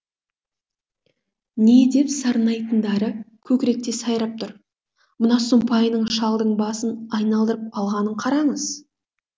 не деп сарнайтындары көкіректе сайрап тұр мына сұмпайының шалдың басын айналдырып алғанын қараңыз